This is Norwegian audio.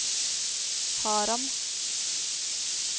Haram